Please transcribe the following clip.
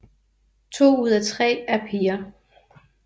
To ud af tre er piger